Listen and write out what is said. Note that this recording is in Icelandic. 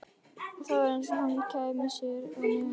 Það var eins og hann kæmi sér ekki að efninu.